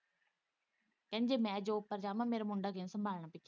ਕਹਿੰਦੀ ਜੇ ਮੈਂ ਜਾੱਬ ਪਰ ਜਾਵਾ ਮੇਰਾ ਮੁੰਡਾ ਕਿੰਨੇ ਸੰਭਾਲਣਾ।